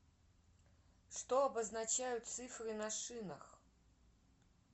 что обозначают цифры на шинах